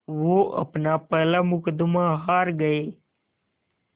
वो अपना पहला मुक़दमा हार गए